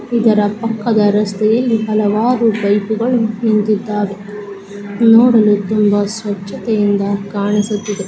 ಇದರ ಪಕ್ಕದ ರಸ್ತೆಯಲ್ಲಿ ಹಲವಾರು ಬೈಕ್ಗಳು ನಿಂತ್ತಿದ್ದಾವೆ. ನೋಡಲು ತುಂಬಾ ಸ್ವಚ್ಛತೆಯಿಂದ ಕಾಣಿಸುತ್ತಿದೆ.